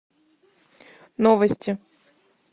новости